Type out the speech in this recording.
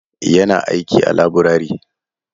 Ya na aiki a laburare.